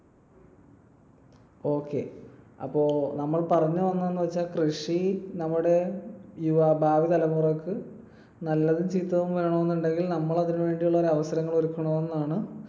Okay അപ്പൊ നമ്മൾ പറഞ്ഞു വന്നതെന്തെന്നുവെച്ചാൽ കൃഷി നമ്മുടെ യുവ ~ ഭാവി തലമുറക്ക് നല്ലതും ചീത്തതും വേണമെന്നുണ്ടെങ്കിൽ നമ്മൾ അതിനു വേണ്ടിയുള്ള ഒരു അവസരങ്ങൾ ഒരുക്കണമെന്നാണ്.